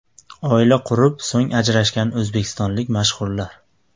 Oila qurib, so‘ng ajrashgan o‘zbekistonlik mashhurlar .